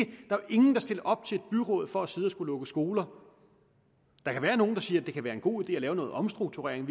ingen der stiller op til et byråd for at sidde og skulle lukke skoler der kan være nogle der siger at det er en god idé at lave noget omstrukturering